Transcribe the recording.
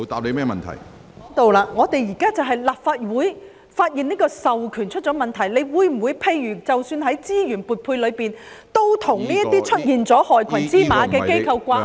立法會現時就是發現這個授權出現問題，局長，在資源撥配等方面，你會否與這些出現了害群之馬的機構掛鈎呢？